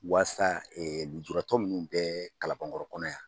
Waasa nujuratɔ mun bɛɛ kalabankɔrɔ kɔnɔ yan